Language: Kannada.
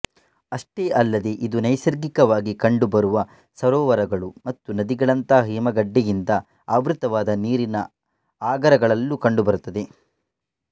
ಅಷ್ಟೇ ಅಲ್ಲದೆ ಇದು ನೈಸರ್ಗಿಕವಾಗಿ ಕಂಡುಬರುವ ಸರೋವರಗಳು ಮತ್ತು ನದಿಗಳಂತಹ ಹಿಮಗಡ್ಡೆಯಿಂದ ಆವೃತವಾದ ನೀರಿನ ಆಗರಗಳಲ್ಲೂ ಕಂಡುಬರುತ್ತದೆ